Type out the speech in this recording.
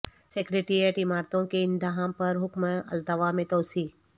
secretariat عمارتوں کے انہدام پر حکم التواء میں توسیع